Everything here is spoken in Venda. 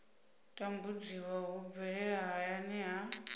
tambudziwa hu bvelela hayani ha